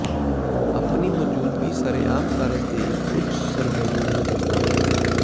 ਆਪਣੀ ਮੌਜੂਦਗੀ ਸ਼ਰੇਆਮ ਕਾਰਜ ਦੇ ਇੱਕ ਉੱਚ ਸਰਗਰਮੀ ਨੂੰ ਦੱਸਦਾ ਹੈ